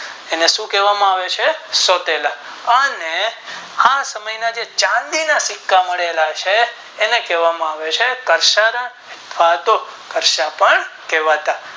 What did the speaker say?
એને શું કહેવામાં આવે છે સોતેલા અને આ સમય ના ચાંદી ના સિક્કા મળેલા છે એને કહેવામાં આવે છે કરસન ખાતો કરશાપણ કહેવાતા